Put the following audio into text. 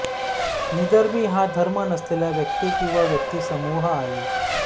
निधर्मी हा धर्म नसलेल्या व्यक्ती किंवा व्यक्ती समूह आहे